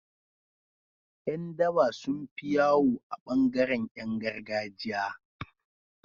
Yan daba sunfi yawo a bangaran Yan gargajiya